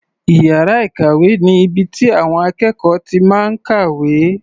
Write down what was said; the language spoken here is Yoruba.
Iyàrá ìkàwé ni ibi tí àwọn akékọ̀ọ́ ti máa ń kàwé.